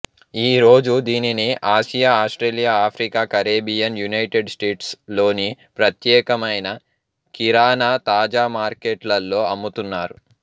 ఈ రోజు దీనిని Asia Australia Africa Caribbean United States లోని ప్రత్యేకమైన కిరాణా తాజా మార్కెట్లలో అమ్ముతున్నారు